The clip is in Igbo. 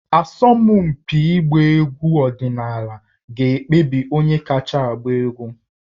Asọmpi ịgba egwu ọdịnala ga-ekpebi onye kacha agba egwu